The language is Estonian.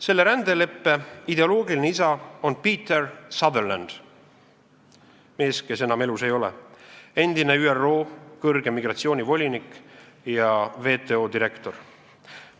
Selle rändeleppe ideoloogiline isa on Peter Sutherland – mees, kes enam elus ei ole, endine ÜRO kõrge migratsioonivolinik ja WTO direktor.